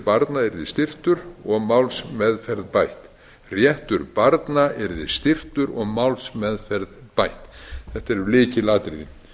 barna yrði styrktur og málsmeðferð bætt réttur barna yrði styrktur og málsmeðferð bætt þetta eru lykilatriði